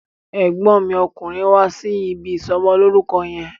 Ẹ̀gbọ́n mi okùnrin wá sí ibi ìsọmọlórúkọ yẹn.